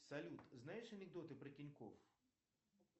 салют знаешь анекдоты про тинькофф